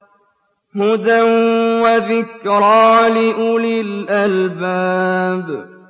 هُدًى وَذِكْرَىٰ لِأُولِي الْأَلْبَابِ